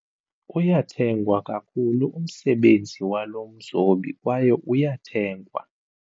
Uyathengwa kakhulu umsebenzi walo mzobi kwaye uyathengwa.